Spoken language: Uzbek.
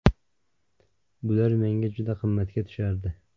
Bular menga juda qimmatga tushardi.